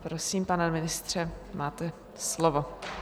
Prosím, pane ministře, máte slovo.